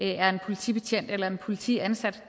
det er en politibetjent eller en politiansat